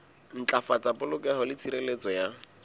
ntlafatsa polokeho le tshireletso ya